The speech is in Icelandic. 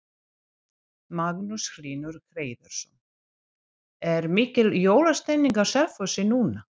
Magnús Hlynur Hreiðarsson: Er mikil jólastemning á Selfossi núna?